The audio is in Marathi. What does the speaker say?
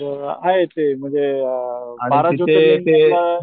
तर अ आहे ते म्हणजे अ बारा ज्योतिर्लिंग मधल,